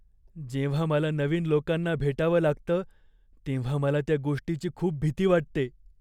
जेव्हा मला नवीन लोकांना भेटावं लागतं तेव्हा मला त्या गोष्टीची खूप भीती वाटते.